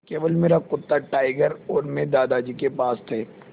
केवल मेरा कुत्ता टाइगर और मैं दादाजी के पास थे